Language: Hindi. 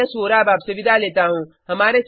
मैं यश वोरा अब आपसे विदा लेता हूँ